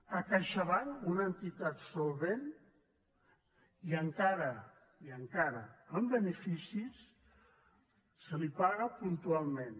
a caixabank una entitat solvent i encara i encara amb beneficis se li paga puntualment